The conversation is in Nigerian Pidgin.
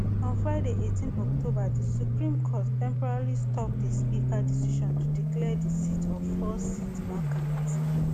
on friday eighteen october di supreme court temporarily stop di speaker decision to declare di seats of four seats vacant